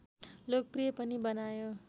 लोकप्रिय पनि बनायो